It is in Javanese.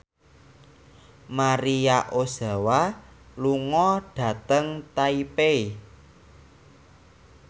Maria Ozawa lunga dhateng Taipei